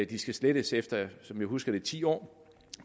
de skal slettes efter som jeg husker det ti år